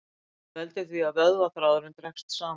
Þetta veldur því að vöðvaþráðurinn dregst saman.